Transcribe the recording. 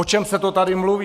O čem se to tady mluví?